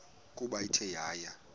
ukuba ithe yaya